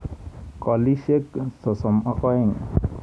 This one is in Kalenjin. Kolisiek 32.